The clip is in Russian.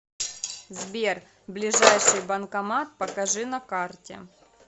сбер ближайший банкомат покажи на карте